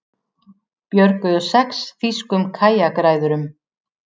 Björguðu sex þýskum kajakræðurum